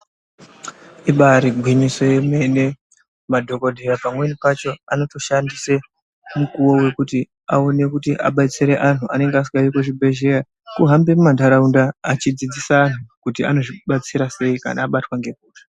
Ibari gwinyiso remene madhokodheya pamweni pacho anotoshandise mukuwo wekuti aone kudetsera antu anenge asinga uyo kuzvipatara kuhambe muntaraunda achidzidzisa antu kuti anozvi batsira sei kana abatwa nehosha.